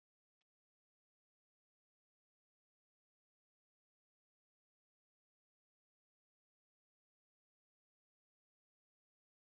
Það gildir sama yfir alla.